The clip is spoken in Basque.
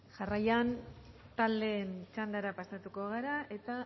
jarraian taldeen txandara pasatuko gara eta